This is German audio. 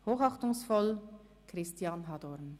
Hochachtungsvoll, Christian Hadorn.